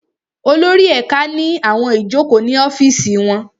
Olórí ẹ̀ka ní àwọn ìjókòó ní ọ́fìsì wọn